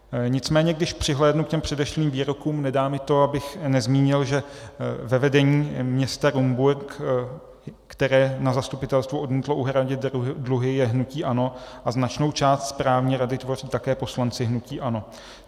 Nicméně když přihlédnu k těm předešlým výrokům, nedá mi to, abych nezmínil, že ve vedení města Rumburk, které na zastupitelstvu odmítlo uhradit dluhy, je hnutí ANO a značnou část správní rady tvoří také poslanci hnutí ANO.